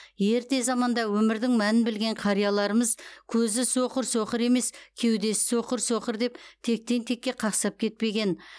ерте заманда өмірдің мәнін білген қарияларымыз көзі соқыр соқыр емес кеудесі соқыр соқыр деп тектен текке қақсап кетпеген